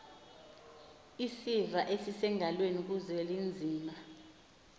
isiva esisengalweni kuzwelinzima